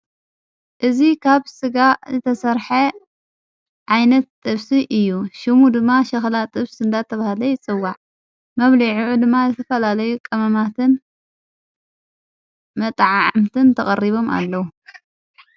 እዝ ኻብ ሥጋ ዘተሠርሐ ዓይነት ጥፍሲ እዩ ሽሙ ድማ ሸኽላ ጥፍስ ንዳ ተብሃለ ይፅዋዕ መብሊዒዑ ድማ ዝዘፈላለይ ቐምማትን መጥዓ ዓምትን ተቐሪቦም ኣለዉ።